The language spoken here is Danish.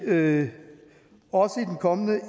vil vi også i den kommende